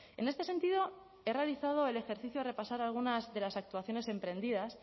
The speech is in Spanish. en este sentido he realizado el ejercicio de repasar algunas de las actuaciones emprendidas